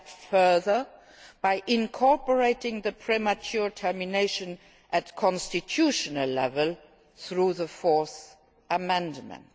gone even further by incorporating the premature termination at constitutional level through the Fourth Amendment.